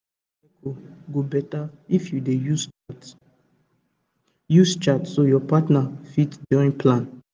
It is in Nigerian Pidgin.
to dey monitor your cycle go better if you dey use chart use chart so your partner fit join plan